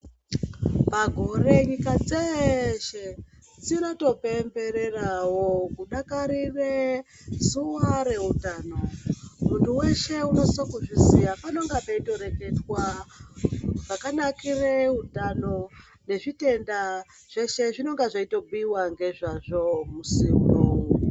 Pagore nyika dzese dzinotopembererawo kudakarire zuwa reutano muntu weshe unosisa kuzviziya panenge peitoreketwa zvakanakire utano nezvitenda zveshe zvinonga zveitobhuyiwa ngezvazvo Musi unou.